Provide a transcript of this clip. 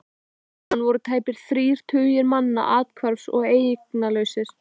Eftir brunann voru tæpir þrír tugir manna athvarfs- og eignalausir.